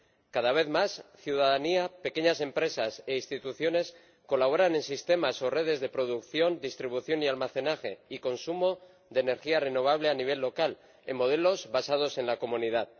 Cada vez más, la ciudadanía, las pequeñas empresas y las instituciones colaboran en sistemas o redes de producción, distribución, almacenaje y consumo de energía renovable a nivel local, en modelos basados en la comunidad.